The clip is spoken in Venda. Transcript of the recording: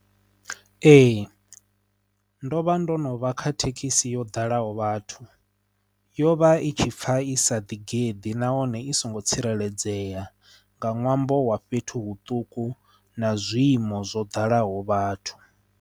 Ee, ndo vha ndo no vha kha thekhisi yo dalaho vhathu yo vha i tshi pfa isa ḓigeḓa nahone i songo tsireledzea nga ṅwambo wa fhethu huṱuku na zwiiimo zwo dalaho vhathu